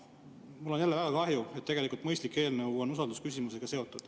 Mul on väga kahju, et tegelikult mõistlik eelnõu on usaldusküsimusega seotud.